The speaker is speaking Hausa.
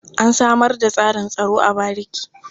An samar da tsarin tsaro a bariki.